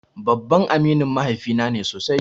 Babban aminin mahaifi na ne sosai.